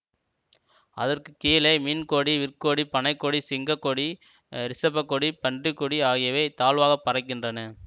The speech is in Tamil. அதற்கு கீழே மீனக்கொடி விற்கொடி பனைக்கொடி சிங்க கொடி ரிஷபக்கொடி பன்றிக்கொடி ஆகியவை தாழ்வாகப் பறக்கின்றன